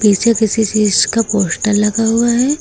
पीछे किसी चीज का पोस्टर लगा हुआ है।